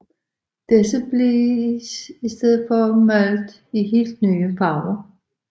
Disse blev i stedet malede i helt nye farver